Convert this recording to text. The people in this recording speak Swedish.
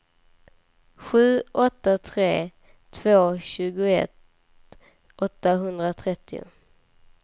sju åtta tre två tjugoett åttahundratrettio